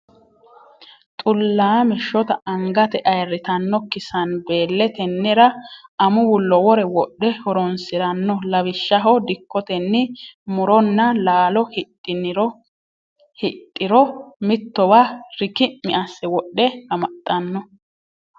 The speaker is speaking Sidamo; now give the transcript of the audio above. Xullame shotta angate ayirrittanokki sanbele tenera amuwu lowore wodhe horonsirano lawishshaho dikkotenni muronna laalo hidhiro mittowa rikki'mi asse wodhe amaxano.